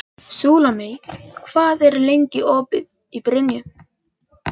Súlamít, hvað er lengi opið í Brynju?